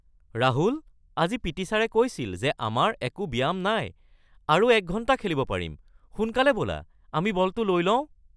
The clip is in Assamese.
ৰাহুল! আজি পি.টি. ছাৰে কৈছিল যে আমাৰ একো ব্যায়াম নাই আৰু ১ ঘণ্টা খেলিব পাৰিম! সোনকালে ব’লা, আমি বলটো লৈ লওঁ!